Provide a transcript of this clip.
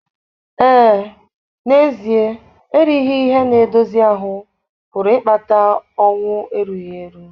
Ee, n'ezie erighị ihe na-edozi ahụ́ pụrụ ịkpata ọnwụ erughi eru.